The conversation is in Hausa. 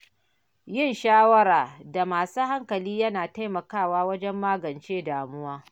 Yin shawara da masu hankali yana taimakawa wajen magance damuwa.